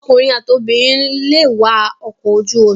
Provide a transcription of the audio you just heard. Ọkùnrin àti obìnrin lè wa ọkọ̀ ojú omi.